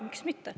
" Miks mitte.